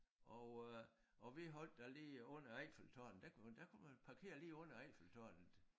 Og øh og vi holdt der lige under Eiffeltårnet der kunne man der kunne man parkere lige under Eiffeltårnet